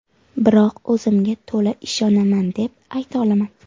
Biroq o‘zimga to‘la ishonaman, deb ayta olaman.